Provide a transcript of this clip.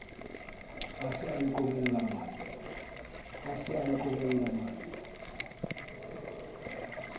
a se a nqhobella majwe